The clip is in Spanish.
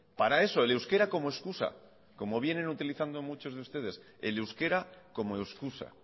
para eso el euskera como excusa como vienen utilizando muchos de ustedes el euskera como excusa